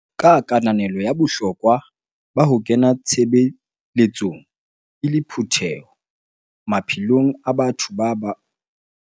Ka kananelo ya bohlokwa ba ho kena tshebeletsong e le phutheho maphelong a batho ba bo rona, mmuso esale o buisana le badumedi.